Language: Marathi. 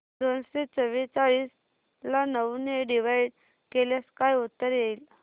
दोनशे चौवेचाळीस ला नऊ ने डिवाईड केल्यास काय उत्तर येईल